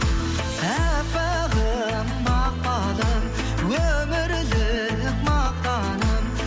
әппағым мақпалым өмірлік мақтаным